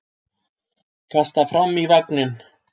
Kastar fram í vagninn.